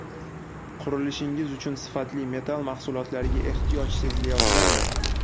Qurilishingiz uchun sifatli metall mahsulotlariga ehtiyoj sezilayotgandir?